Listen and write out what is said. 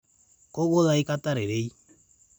Kogol aikatai rerei